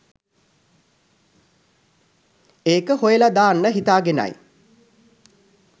ඒක හොයල දාන්න හිතාගෙනයි